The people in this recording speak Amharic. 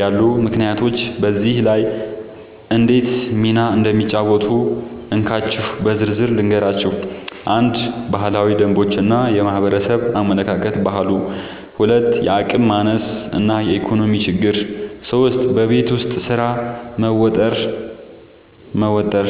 ያሉ ምክንያቶች በዚህ ላይ እንዴት ሚና እንደሚጫወቱ እንካችሁ በዝርዝር ልንገራችሁ፦ 1. ባህላዊ ደንቦች እና የማህበረሰብ አመለካከት (ባህሉ) 2. የአቅም ማነስ እና የኢኮኖሚ ችግር 3. በቤት ውስጥ ስራ መወጠር መወጠር